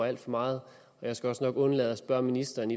alt for meget jeg skal også nok undlade at spørge ministeren